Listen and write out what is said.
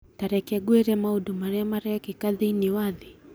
Ta reke ngwĩre maũndũ marĩa marekĩka thĩinĩ wa thĩ.